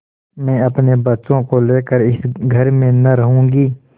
मैं अपने बच्चों को लेकर इस घर में न रहूँगी